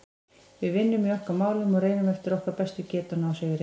Við vinnum í okkar málum og reynum eftir okkar bestu getu að ná sigri.